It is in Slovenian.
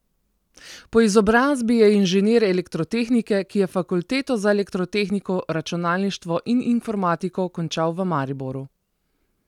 Po izobrazbi je inženir elektrotehnike, ki je fakulteto za elektrotehniko, računalništvo in informatiko končal v Mariboru.